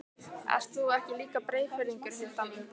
Ert þú ekki líka Breiðfirðingur, Hulda mín?